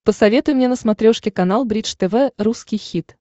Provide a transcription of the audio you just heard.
посоветуй мне на смотрешке канал бридж тв русский хит